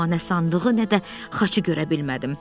Amma nə sandığı, nə də xaçı görə bilmədim.